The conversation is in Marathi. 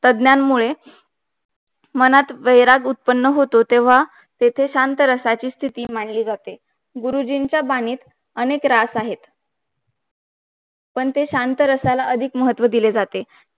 तज्ञांमुळे मनात वैराग्य उत्पन्न होतॊ तेव्हा तिथे शांतरसाची स्तिथी मंडळी जाते गुरुजींच्या बाणीत अनेक रास आहे पण ते शांत रसाला अधिक महत्व दिले जाते